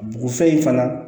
Bɔgɔfɛn in fana